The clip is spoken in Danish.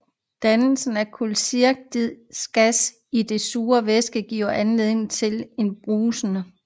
Dannelsen af kuldioxidgas i den sure væske giver anledning til en brusen